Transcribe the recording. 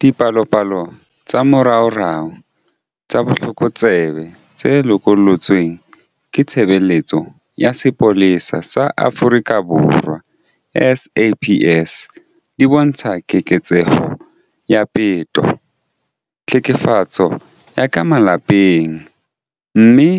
Dipalopalo tsa moraorao tsa botlokotsebe tse lokollotsweng ke Tshebeletso ya Sepolesa sa Afrika Borwa, SAPS, di bontsha keketseho ya peto, tlhekefetso ya ka malapeng, mme,